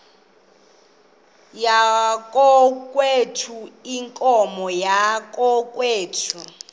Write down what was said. yakokwethu iinkomo zakokwethu